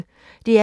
DR P1